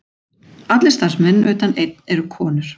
Allir starfsmenn utan einn eru konur